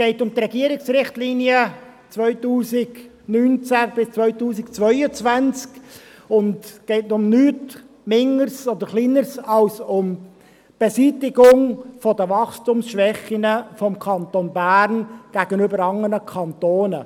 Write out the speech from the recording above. – Es geht um die Regierungsrichtlinien 2019–2022 und um nichts Geringeres als die Beseitigung der Wachstumsschwächen des Kantons Bern gegenüber anderen Kantonen.